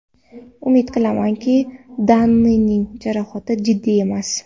Umid qilamanki, Danining jarohati jiddiy emas.